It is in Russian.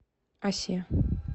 осе